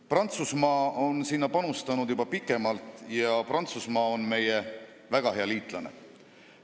Prantsusmaa on sinna panustanud juba pikemalt ja Prantsusmaa on meie väga hea liitlane.